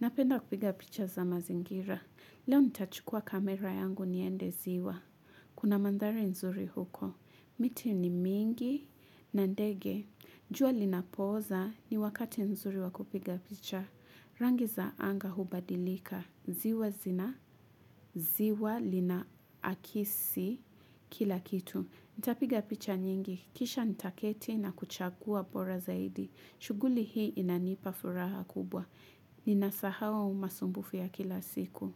Napenda kupiga picha za mazingira. Leo nitachukua kamera yangu niende ziwa. Kuna mandhari nzuri huko. Miti ni mingi na ndege. Jua linapooza ni wakati nzuri wakupiga picha. Rangi za anga hubadilika. Ziwa zina, ziwa lina akisi kila kitu. Nitapiga picha nyingi. Kisha nitaketi na kuchagua bora zaidi. Shughuli hii inanipa furaha kubwa. Nina sahau masumbufu ya kila siku.